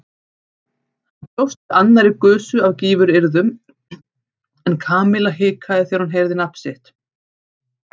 Hann bjóst við annarri gusu af gífuryrðum en Kamilla hikaði þegar hún heyrði nafnið sitt.